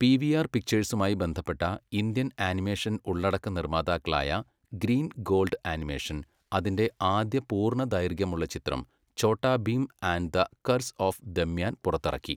PVR പിക്ചേഴ്സുമായി ബന്ധപ്പെട്ട Indian animation ഉള്ളടക്ക നിർമ്മാതാക്കളായ ഗ്രീൻ ഗോൾഡ് ആനിമേഷൻ അതിന്റെ ആദ്യ പൂർണ്ണ ദൈർഘ്യമുള്ള ചിത്രം Chhota Bheem and the curse of Damyan പുറത്തിറക്കി.